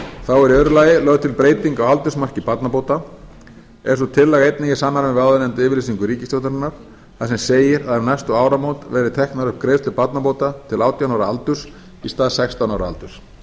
þá er í öðru lagi lögð til breyting á aldursmarki barnabóta er sú tillaga einnig í samræmi við yfirlýsingu ríkisstjórnarinnar þar sem segir að um næstu áramót verði teknar upp greiðslur barnabóta til átján ára aldurs í stað sextán ára aldurs